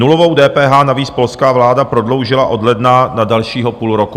Nulovou DPH navíc polská vláda prodloužila od ledna na dalšího půl roku.